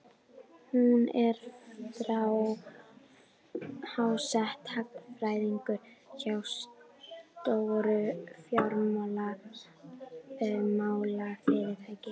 Hún er þar háttsett, hagfræðingur hjá stóru fjármálafyrirtæki.